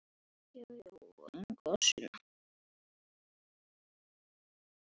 Amma og afi fylgdu með.